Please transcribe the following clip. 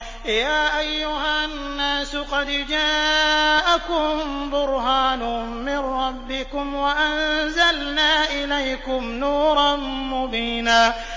يَا أَيُّهَا النَّاسُ قَدْ جَاءَكُم بُرْهَانٌ مِّن رَّبِّكُمْ وَأَنزَلْنَا إِلَيْكُمْ نُورًا مُّبِينًا